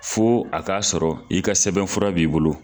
Fo a k'a sɔrɔ i ka sɛbɛnfura b'i bolo.